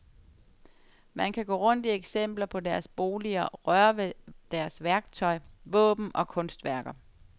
Man kan gå rundt i eksempler på deres boliger, røre ved deres værktøj, våben og kunstværker.